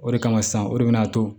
O de kama sisan o de bɛ na to